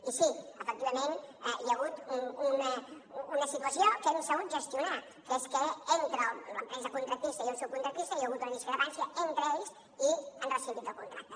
i sí efectivament hi ha hagut una situació que hem sabut gestionar que és que entre l’empresa contractista i un subcontractista hi ha hagut una discrepància entre ells i han rescindit el contracte